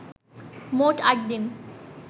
মোট আট দিন